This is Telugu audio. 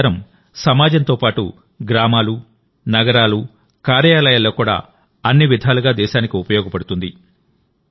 ఈ ప్రచారం సమాజంతో పాటు గ్రామాలు నగరాలు కార్యాలయాల్లో కూడా అన్ని విధాలుగా దేశానికి ఉపయోగపడుతుంది